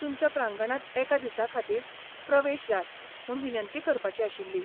तुमच्या प्रांगणांत एका दिसाखातीर प्रवेश जाय म्हूण विनंती करपाची आशिल्ली.